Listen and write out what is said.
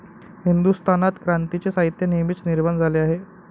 हिंदुस्थानात क्रांतीचे साहित्य नेहमीच निर्माण झाले आहे.